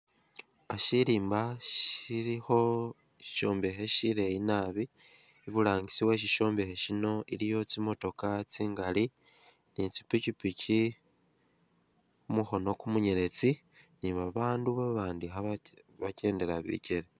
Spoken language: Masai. Uh Shirimba shilikho shishombekhe shileyi naabi, iburangisi we shishombekhe shino waliyo tsimotoka tsingali ne tsipikipiki, mumukhono kumunyeletsi ne babandu babandi khabakendela bikele.